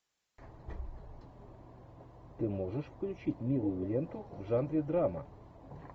ты можешь включить милую ленту в жанре драма